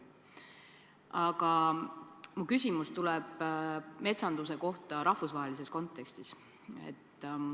Aga mu küsimus tuleb metsanduse kohta rahvusvahelises kontekstis.